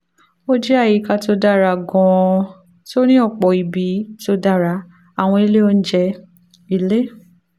ó jẹ́ àyíká tó dára gan-an tó ní ọ̀pọ̀ ibi tó dára àwọn ilé oúnjẹ ilé